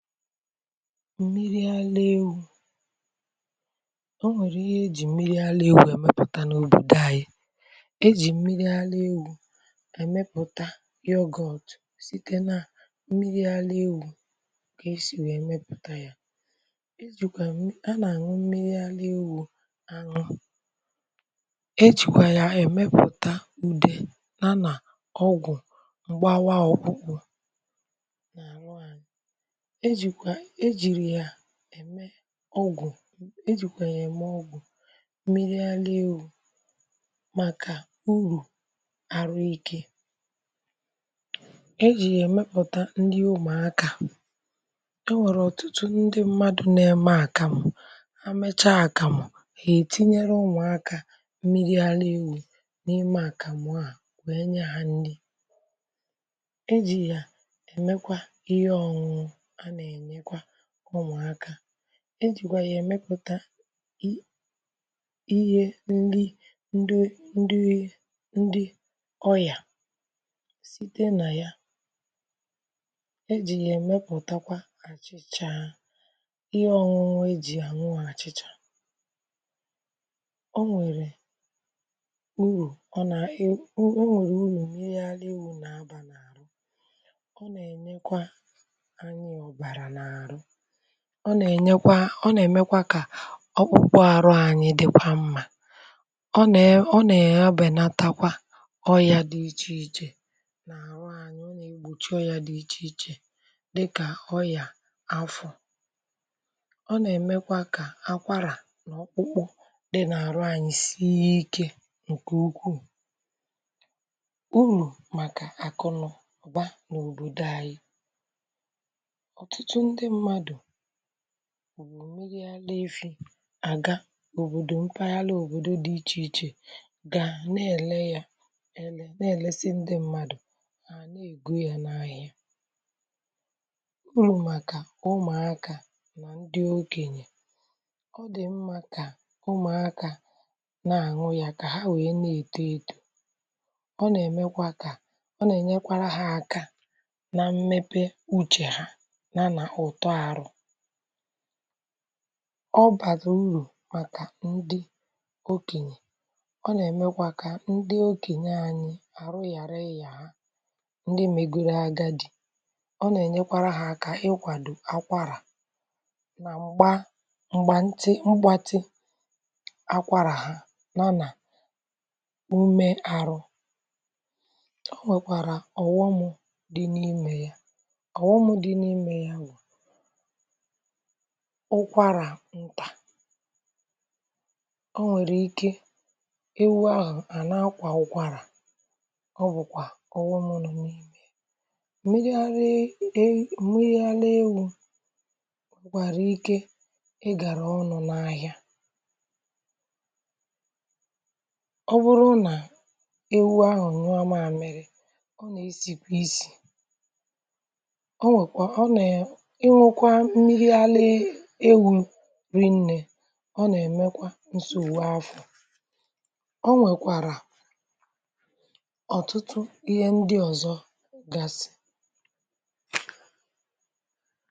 Mmiri àra ewu̇ o nwèrè ihe ejì mmiri àra ewu̇ ẹ̀mẹpụ̀ta n’òbòdo ànyị, ejì mmiri àra ewu̇ è mẹpụ̀ta yoghurt site nà mmiri àra ewu̇ kà esì wèe mepụ̀ta yȧ. a nà-àṅụ mmiri àra ewu̇ àṅụ ejìkwà yà èmepụ̀ta ùde yà nà ọgwụ̀ m̀gbawa ọ̀kpụkpụ na aṅụ aṅụ ẹ jiri ya ẹ̀mẹ ọgwụ̀ ejìkwà yá eme ọgwụ mmiri ara ewu̇ màkà urù àhụ ikė. E jì yà ẹ̀mẹpụta nrị umùakȧ, ẹ wẹ̀rẹ̀ ọ̀tụtụ ndị mmadụ̇ nà ẹmẹ àkàmụ̀ amịcha àkàmụ̀ è tinyere umù akȧ mmiri ara ewu̇ n'ịmẹ àkàmụ̀ a wèe nye hȧ nrị, e jì yà ẹ̀mẹkwa ihe ọṅụṅụ a na-ènyekwa ụmụ aka,e jìgwà yà èmepụ̀ta i ihe ndi ndi ndị ọria, site nà ya ejì yà èmepụ̀takwa àchị̀chà ihe ọ̀nụnụ e ji àṅụ àchị̀chà. O nwèrè urù ọ nà o nwèrè urù mmiri ara ewụ nà abà n’àhụ ọ nà-ènyekwa anyị ọbara na ahụ, ọ na enyekwa ọ nà-èmekwa kà ọkpụkpụ àhụ anyị dị̀kwa mmȧ ọ nà-è, ọ nà-èbè na takwa ọrịȧ dị ichè ichè na ahụ anyị ọ na egbochi ọrịa dị iche iche, dị kà ọrịà afọ̇. Ọ nà-èmekwa kà akwarà nà ọkpụkpụ dị nà àhụ anyị sie ike ǹkè ukwuù. Urù màkà àkụnubà n’òbòdo anyị̇ ọtụtụ ndị mmadụ búrú mmiri ara na-efi̇ àga òbòdò mpagharị òbòdo dị̇ ichè ichè gà na-èle ya ele na-èlesi ndị mmadụ̀ hà na-ego ya n’ahịa. Urù màkà ụmụ̀akȧ nà ndị okenyè ọ dị̀ mmȧ kà ụmụ̀akȧ na-àṅụ ya kà ha wèe na-èto ėtò ọ nà-èmekwa kà ọ nà-ènyekwara ha aka na mmepe uche ha yá na ụtọ ahụ. Ọ bàrà urù màkà ndị okènyè ọ nà-èmekwa kà ndị okènyè anyị àhụ ghàra ịya ha ndị megoro aga dị̀ ọ nà-ènyekwara ha aka ịkwàdò akwarà mà m̀gbà m̀gbà ntị mgbatị akwara ha ya nà ume àhụ. O nwèkwàrà ọ̀ghọm dị n’imė ya ọ̀ghọm dị n’imė ya ụkwara ntà ọ nwèrè ike ewu ahụ̀ à na-akwà ukwarà ọ bụ̀kwà ọ̀ghọṁ nọ mmiri ara ewụ mmiri ara ewụ nwere ike ịgàrà ọnụ n’ahịa. Ọ bụrụ nà ewu ahụ̀ nyuọa maamiri ọ nà-esìkwà isì. ọ nwekwa ọ na um ịṅukwa mmiri ara ewụ li ne ọ nà-èmekwa nsogbu afọ ,ọ nwèkwàrà ọ̀tụtụ ihe ndị ọ̀zọ̀ gasị̀.